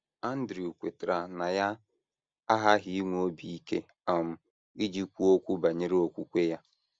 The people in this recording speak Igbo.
Andrew kwetara na ya aghaghị inwe obi ike um iji kwuo okwu banyere okwukwe ya.